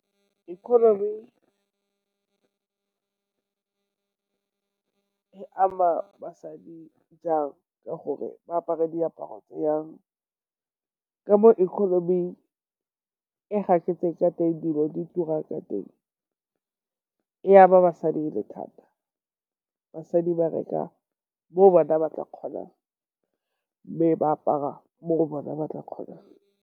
Economy e ama basadi jang? Ka gore ba apara diaparo jang. Ka mo economy e gaketseng ka teng, dilo di turang ka teng e ama basadi e le thata. Basadi ba reka mo bona ba ka kgonang, mme ba apara mo go bona ba ka kgonang.